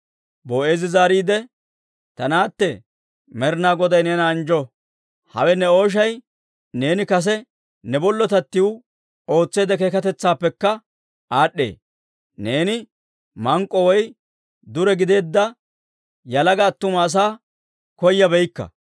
Boo'eezi zaariide, «Ta naatte, Med'inaa Goday neena anjjo! Hawe ne ooshay neeni kase ne bollotattiw ootseedda keekatetsaappekka aad'd'ee; neeni mank'k'o woy dure gideedda yalaga attuma asaa koyabaakka.